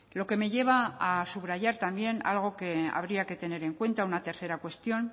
lo que me lleva a subrayar también algo que habría que tener en cuenta una tercera cuestión